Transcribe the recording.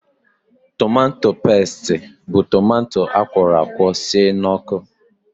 Tomato pestị bụ tomato akwọrọ akwọ sie n'ọkụ.